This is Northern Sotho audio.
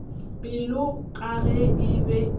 pelo ka ge e be